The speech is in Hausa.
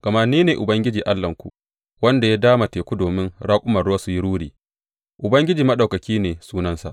Gama ni ne Ubangiji Allahnku, wanda ya dama teku domin raƙumansa su yi ruri, Ubangiji Maɗaukaki ne sunansa.